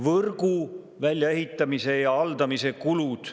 Võrgu väljaehitamise ja haldamise kulud.